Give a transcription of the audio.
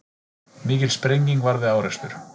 Mikil sprenging varð við árekstur